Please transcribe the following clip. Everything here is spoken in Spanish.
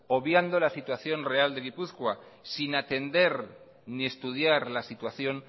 obviando la situación real de gipuzkoa sin atender ni estudiar la situación